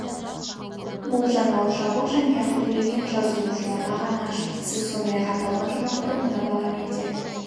бұл жаңалық жабық және ақы төлеген жазылушыларға ғана ашық сіз сондай-ақ аталған жаңалықты мына бағамен де